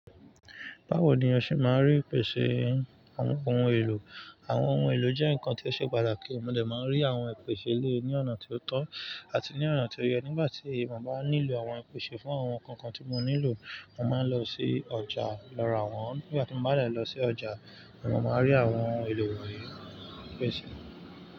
Báwo ni ọṣe máa rí ìpèsè àwọn ohun èlò? Àwọn ohun èlò jẹ́ nǹkan tí ó ṣe pàtàkì. Mo lè máa rí àwọn ìpèsè lé ní ọ̀nà tí ó tọ́ àti ní ọ̀nà tí ó yẹ. Nígbà tí mo bá nílò àwọn ìpèsè fún àwọn nǹkan kan tí mo nílò, mo máa ń lọ sí ọjà lọ ra wọ́n. Nígbà tí mo bá lè lọ sí ọjà, mo máa rí àwọn ohun èlò wọ̀nyí, pèsè.